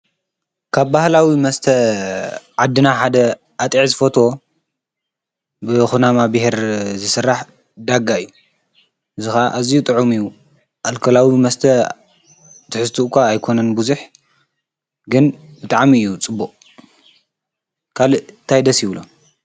ካብ ባህላዊ መስተ ዓድና ሓደ ኣጢዕ ዝፈቶ ብ ኹናማ ብሔር ዝሥራሕ ዳጋ እዩ ዝኻ እዚ ጥዑሚ ኣልከላዊ መስተ ትሕስትእ እኳ ኣይኮነን ብዙኅ ግን ብጥዓሚ እዩ ጽቡእ ካልእ ታይደሲ ይብሎ::